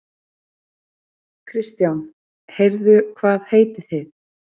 Kristján: Heyrðu hvað heitið þið?